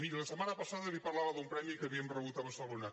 miri la setmana passada li parlava d’un premi que havíem rebut a barcelona